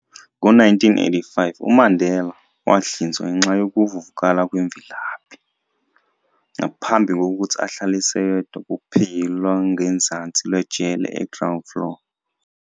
Ngo-1985, uMandela wahlinzwa ngenxa youvuvukala kwemvilaphi, ngaphambi kokuthi ahlaliswe yedwa kuphiki lwangezansi lwejele e-ground floor.